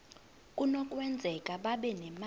kunokwenzeka babe nemali